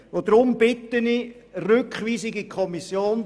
Deshalb bitte ich Sie um die Rückweisung in die Kommission.